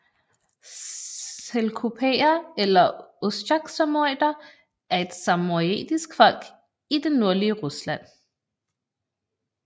Selkupere eller ostjaksamojeder er et samojedisk folk i det nordlige Rusland